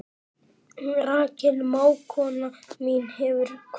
Rakel mágkona mín hefur kvatt.